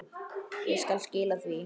Ég skal skila því.